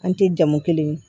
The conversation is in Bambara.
An tɛ jamu kelen